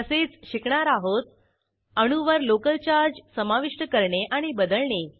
तसेच शिकणार आहोत अणूवर लोकल चार्ज समाविष्ट करणे आणि बदलणे